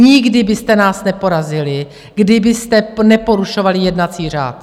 Nikdy byste nás neporazili, kdybyste neporušovali jednací řád.